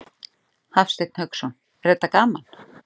Hafsteinn Hauksson: Er þetta gaman?